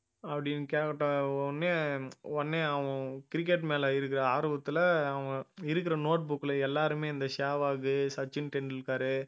அப்படின்னு கேட்ட உடனே உடனே அவன் cricket மேல இருக்கிற ஆர்வத்துல அவன் இருக்கற note book ல எல்லாருமே இந்த சேவாகு, சச்சின் டெண்டுல்கரு